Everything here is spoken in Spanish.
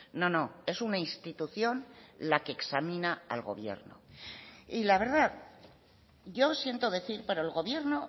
no no es una institución la que examina al gobierno y la verdad yo siento decir pero el gobierno